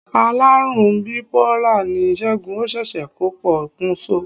Alárùn biipólà ni Segun, ó ṣeéṣe kó po kùn so.